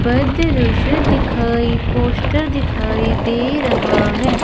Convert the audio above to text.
दिखाई पोस्टर दिखाई दे रहा है।